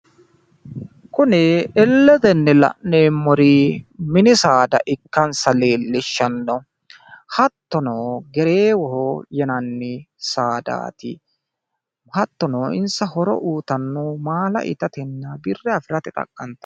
Kuni illetenni la'neemmori mini saada ikkansa leellishshanno. Hattono gereewo yinanni saadaati. hattono insa horo uyitanno maala itatenna birra afirate xaqqantanno.